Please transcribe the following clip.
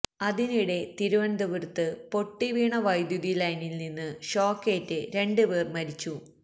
അതിനിടെ തിരുവനന്തപുരത്ത് പൊട്ടിവീണ വൈദ്യുതി ലൈനില്നിന്ന് ഷോക്കേറ്റ് രണ്ടു പേര് മരിച്ചു